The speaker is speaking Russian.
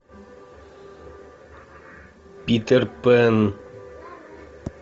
питер пэн